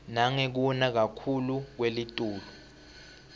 nangekuna kakhuclu kwelitulu